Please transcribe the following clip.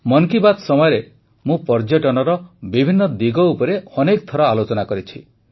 ମନ୍ କି ବାତ୍ ସମୟରେ ମୁଁ ପର୍ଯ୍ୟଟନର ବିଭିନ୍ନ ଦିଗ ଉପରେ ଅନେକ ଥର ଆଲୋଚନା କରିଛି